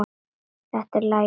Þetta er lagið okkar ömmu.